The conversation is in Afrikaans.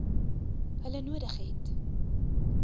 hulle nodig het